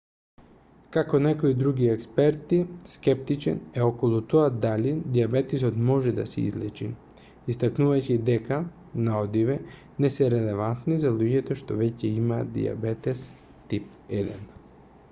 како некои други експерти скептичен е околу тоа дали дијабетесот може да се излечи истакнувајќи дека наодиве не се релевантни за луѓето што веќе имаат дијабетес тип 1